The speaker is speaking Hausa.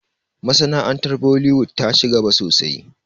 Masana'antar bollywood ta ci gaba sosai